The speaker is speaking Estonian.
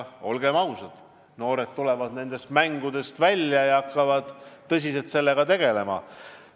Olgem ausad, noored tulevad nendest mängudest välja ja hakkavad tõsiselt selle asjaga tegelema.